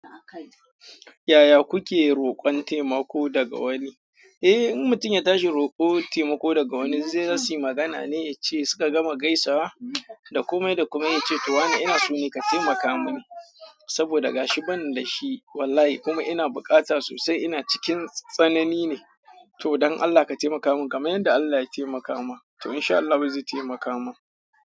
Yaya kuke roƙon temako daga wani. Eh, in mutum ya tashi rokon taimako daga wani zai siyi magana ne yace suka gama gaisawa, da komai da komai yace to wane ina so ne ka taimaka mun saboda gashi ban dashi wallahi kuma ina bukata sosai ina cikin tsanani ne, to don Allah ka taimaka man kamar yanda Allah ya taimaka ma, to insha Allahu zai taimaka ma.